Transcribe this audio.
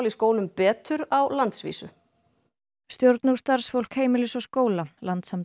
í skólum betur á landsvísu stjórn og starfsfólk Heimilis og skóla